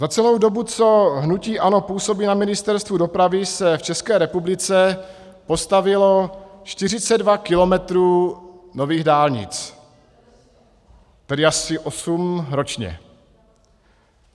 Za celou dobu, co hnutí ANO působí na Ministerstvu dopravy, se v České republice postavilo 42 kilometrů nových dálnic, tedy asi osm ročně.